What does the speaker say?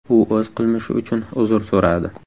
U o‘z qilmishi uchun uzr so‘radi.